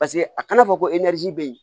Paseke a kana fɔ ko bɛ yen